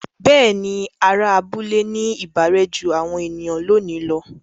Bẹ́ẹ̀ni, àwọn ará abúlé ní ìbárẹ́ jú àwọn ènìyàn lónìí lọ.